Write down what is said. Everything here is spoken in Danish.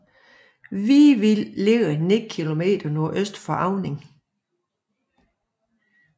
Vivild er beliggende ni kilometer nordøst for Auning